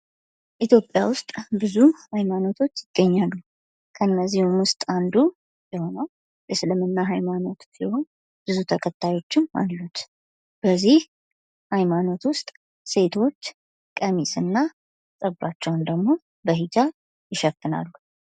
ኢትዮጵያ ውስጥ ብዙ ሃይማኖቶች ይገኛሉ። ከእነዚህም ውስጥ አንዱ የሆነው እስልምና ሃይማኖት ሲሆን ብዙ ተከታዮችም አሉት። በዚህ ሃይማኖት ውስጥ ሴቶች ቀሚስና ፀጉራቸውን ደግሞ በሂጃብ ይሸፍናሉ።